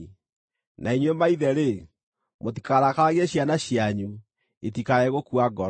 Na inyuĩ maithe-rĩ, mũtikarakaragie ciana cianyu, itikae gũkua ngoro.